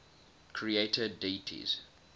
creator deities